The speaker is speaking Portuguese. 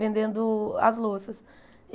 Vendendo as louças.